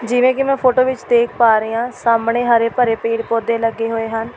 ਜਿਵੇਂ ਕਿ ਮੈਂ ਫੋਟੋ ਵਿਚ ਦੇਖ ਪਾ ਰਹੀਂ ਹਾਂ ਸਾਹਮਣੇ ਹਰੇ-ਭਰੇ ਪੇੜ੍ਹ ਪੌਦੇ ਲੱਗੇ ਹੋਏ ਹਨ।